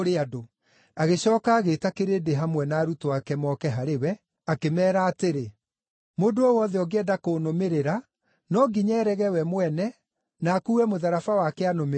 Agĩcooka agĩĩta kĩrĩndĩ hamwe na arutwo ake moke harĩ we, akĩmeera atĩrĩ, “Mũndũ o wothe ũngĩenda kũnũmĩrĩra, no nginya eerege we mwene, na akuue mũtharaba wake anũmĩrĩre.